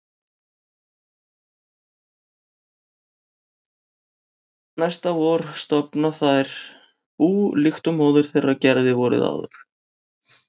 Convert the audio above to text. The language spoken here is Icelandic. Næsta vor stofna þær bú líkt og móðir þeirra gerði vorið áður.